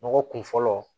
Nɔgɔ kun fɔlɔ